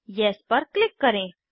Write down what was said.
yes पर click करें